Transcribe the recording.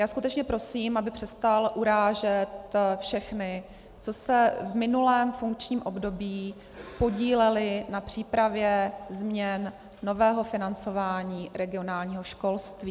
Já skutečně prosím, aby přestal urážet všechny, kteří se v minulém funkčním období podíleli na přípravě změn nového financování regionálního školství.